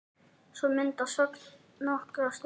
Svo myndast þögn nokkra stund.